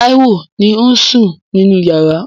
Táíwò ni ó ń sùn nínú yàrá.